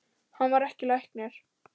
Hann var ekki læknir.